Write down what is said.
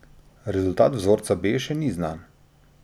Rezultat vzorca B še ni znan.